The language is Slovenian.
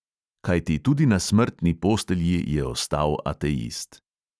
Kajti tudi na smrtni postelji je ostal ateist.